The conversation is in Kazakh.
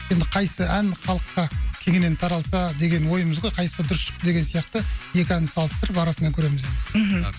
енді қайсы ән халыққа кеңінен таралса деген ойымыз ғой қайсысы дұрыс шықты деген сияқты екі әнді салыстырып арасынан көреміз енді мхм